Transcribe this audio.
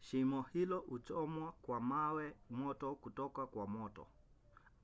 shimo hilo huchomwa kwa mawe moto kutoka kwa moto